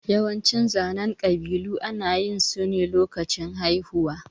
Yawancin zanen ƙabilu ana yin su ne lokacin haihuwa.